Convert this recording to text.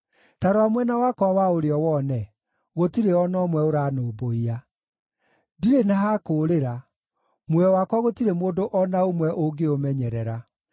Ta rora mwena wakwa wa ũrĩo wone; gũtirĩ o na ũmwe ũranũmbũiya. Ndirĩ na ha kũũrĩra; muoyo wakwa gũtirĩ mũndũ o na ũmwe ũngĩũmenyerera.